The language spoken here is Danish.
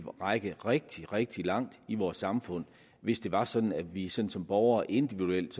række rigtig rigtig langt i vores samfund hvis det var sådan at vi som som borgere individuelt